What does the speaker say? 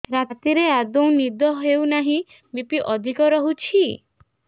ରାତିରେ ଆଦୌ ନିଦ ହେଉ ନାହିଁ ବି.ପି ଅଧିକ ରହୁଛି